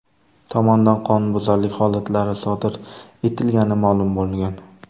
tomonidan qonunbuzarlik holatlari sodir etilgani ma’lum bo‘lgan.